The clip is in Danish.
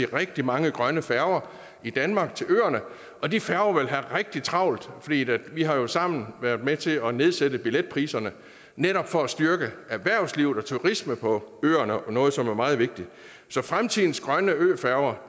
rigtig mange grønne færger i danmark til øerne og de færger vil have rigtig travlt for vi har jo sammen været med til at nedsætte billetpriserne netop for at styrke erhvervsliv og turisme på øerne noget som er meget vigtigt så fremtidens grønne øfærger